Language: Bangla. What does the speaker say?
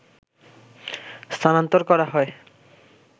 স্থানান্তর করা হয়